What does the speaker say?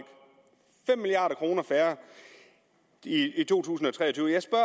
fem milliard kroner færre i to tusind og tre